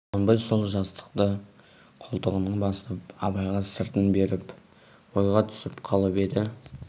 құнанбай сол жастықты қолтығына басып абайға сыртын беріп ойға түсіп қалып еді